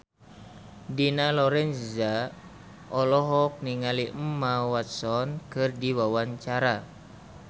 Dina Lorenza olohok ningali Emma Watson keur diwawancara